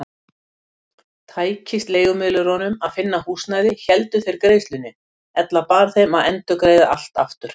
Tækist leigumiðlurunum að finna húsnæði héldu þeir greiðslunni, ella bar þeim að endurgreiða allt aftur.